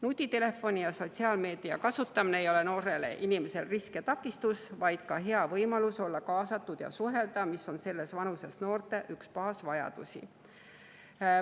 Nutitelefoni ja sotsiaalmeedia kasutamine ei ole noorele inimesele risk ja takistus, vaid see on ka võimalus olla kaasatud ja hea võimalus suhelda, mis on selles vanuses noorte üks baasvajadusi.